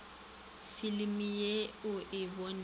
filimi ye o e bonego